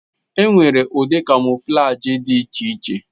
Enwere ụdị kamọflajị dị iche iche.